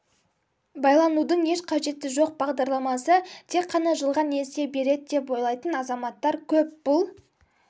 байланудың еш қажеті жоқ бағдарламасы тек қана жылға несие береді деп ойлайтын азаматтар көп бұл